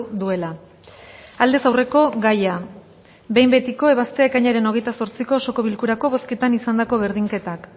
duela aldez aurreko gaia behin betiko ebaztea ekainaren hogeita zortziko osoko bilkurako bozketan izandako berdinketak